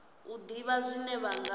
u ḓivha zwine vha nga